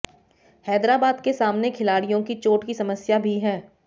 हैदराबाद के सामने खिलाड़ियों की चोट की समस्या भी है